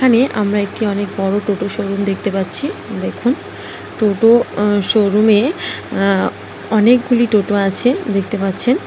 এখানে আমরা একটি অনেক বড় টোটো শোরুম দেখতে পাচ্ছি দেখুন দুটো শোরুম -এ অ্যাঁ অনেকগুলি টোটো আছে দেখতে পাচ্ছেন।